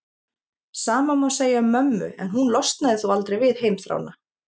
Sama má segja um mömmu en hún losnaði þó aldrei við heimþrána.